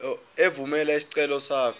evumela isicelo sakho